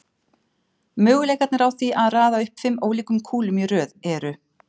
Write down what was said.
Möguleikarnir á því að raða upp fimm ólíkum kúlum í röð eru